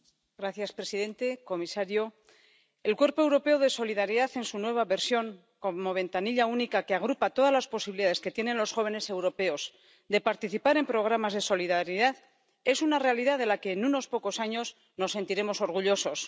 Señor presidente, señor comisario, el Cuerpo Europeo de Solidaridad en su nueva versión como ventanilla única que agrupa todas las posibilidades que tienen los jóvenes europeos de participar en programas de solidaridad es una realidad de la que en unos pocos años nos sentiremos orgullosos.